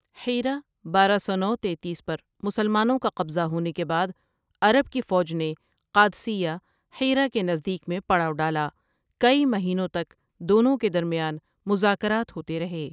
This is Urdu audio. حیرہ بارہ نو سو تینتیس پر مسلمانوں کا قبضہ ہونے کے بعد، عرب کی فوج نے قادسیہ حیرہ کے نزدیک میں پڑاؤ ڈالا کئی مہینوں تک دونوں کے درمیان مذاکرات ہوتے رہے۔